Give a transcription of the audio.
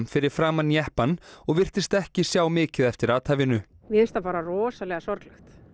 fyrir framan jeppann og virtist ekki sjá mikið eftir athæfinu mér finnst það bara rosalega sorglegt